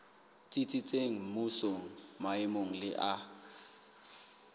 tsitsitseng mmusong maemong le ha